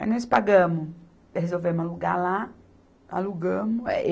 Aí nós pagamos, resolvemos alugar lá, alugamos.